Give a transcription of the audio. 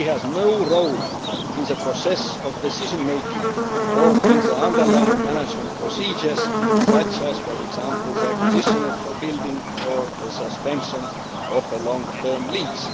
He has no role in the process of decision making or in the underlying management procedures such as, for example, the acquisition of buildings or the suspension of a long term lease.